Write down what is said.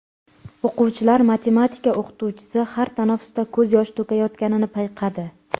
O‘quvchilar matematika o‘qituvchisi har tanaffusda ko‘z yosh to‘kayotganini payqadi.